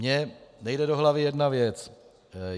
Mně nejde do hlavy jedna věc.